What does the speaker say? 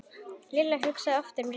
Lilla hugsaði oft um Rikku.